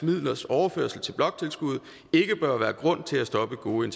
midlers overførsel til bloktilskuddet ikke bør være grund til at stoppe gode